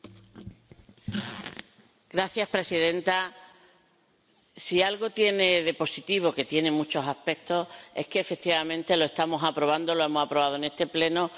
Señora presidenta, si algo tiene de positivo este informe —que tiene muchos aspectos—, es que efectivamente lo estamos aprobando, lo hemos aprobado en este Pleno antes del